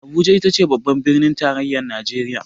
Abuja itace babbar birnin tarayyar najeriya.